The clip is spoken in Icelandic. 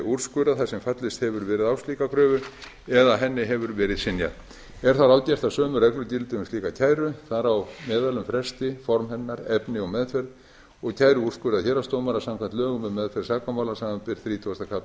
þar sem fallist hefur verið á slíka kröfu eða henni hefur verið synjað er þá ráðgert að sömu reglur gildi um slíka kæru þar á meðal um fresti formaður hennar efni og meðferð og kæru úrskurðar héraðsdómara samkvæmt lögum um meðferð sakamála samanber þrítugasta kafli laganna